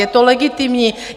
Je to legitimní.